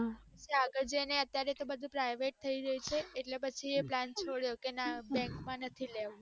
અત્યારે તો બધું private થાય જાય છે એટલે plan છોળ્યો કે ના bank માં નથી લેવું